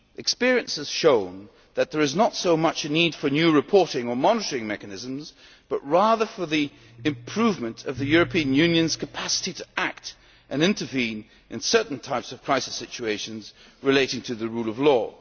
Experience has shown that there is not so much a need for new reporting or monitoring mechanisms, but rather for the improvement of the European Union's capacity to act and intervene in certain types of crisis situations relating to the rule of